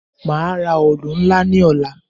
Màá ra òòlù ńlá ní ọ̀la.